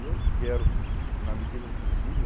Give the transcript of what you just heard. E eu quero, na medida do possível,